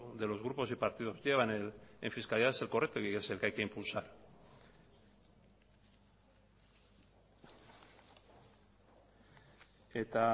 de los grupos y partidos en fiscalidad y es el que hay que impulsar eta